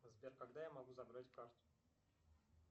сбер когда я могу забрать карту